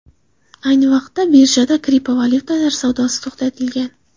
Ayni vaqtda birjada kriptovalyutalar savdosi to‘xtatilgan.